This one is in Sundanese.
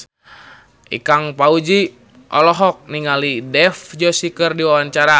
Ikang Fawzi olohok ningali Dev Joshi keur diwawancara